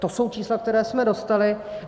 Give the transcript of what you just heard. To jsou čísla, která jsme dostali.